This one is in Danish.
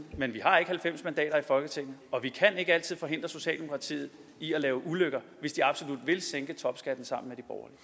men vi har ikke halvfems mandater i folketinget og vi kan ikke altid forhindre socialdemokratiet i at lave ulykker hvis de absolut vil sænke topskatten sammen